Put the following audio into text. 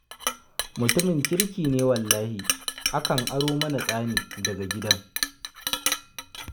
Mutumin kirki ne wallahi, akan aro mana tsani daga gidan.